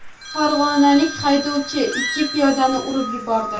Farg‘onalik haydovchi ikki piyodani urib yubordi.